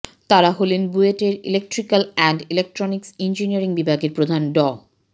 তারা হলেন বুয়েটের ইলেট্রিক্যাল অ্যান্ড ইলেকট্রনিক্স ইঞ্জিনিয়ারিং বিভাগের প্রধান ড